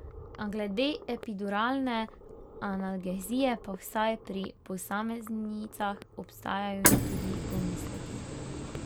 Glede epiduralne analgezije pa vsaj pri posameznicah obstajajo tudi pomisleki.